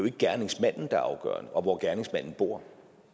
ikke gerningsmanden der er afgørende og hvor gerningsmanden bor